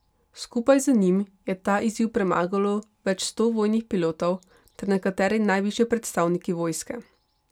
Skupaj z njim je ta izziv premagalo več sto vojnih pilotov ter nekateri najvišji predstavniki vojske.